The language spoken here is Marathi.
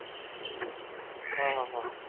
अह अह अह